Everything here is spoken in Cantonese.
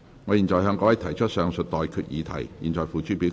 我現在向各位提出上述待決議題，付諸表決。